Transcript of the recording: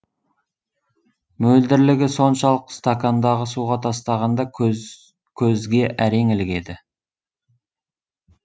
мөлдірлігі соншалық стакандағы суға тастағанда көзге әрең ілігеді